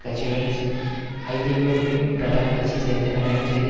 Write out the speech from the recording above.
கட்சியுடன் ஐதேமு வின் பிரதான கட்சி சேர்ந்த கண்டனம் செய்த